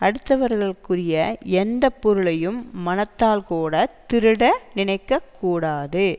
அடுத்தவர்க்குரிய எந்த பொருளையும் மனத்தால் கூட திருட நினைக்க கூடாது